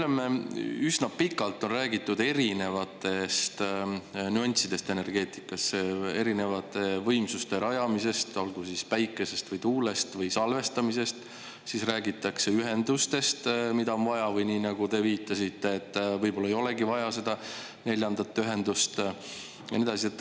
No me oleme … üsna pikalt on räägitud erinevatest nüanssidest energeetikas, erinevate võimsuste rajamisest, olgu siis päikesest või tuulest või salvestamisest, siis räägitakse ühendustest, mida on vaja, või nii, nagu te viitasite, et võib-olla ei olegi vaja seda neljandat ühendust, ja nii edasi.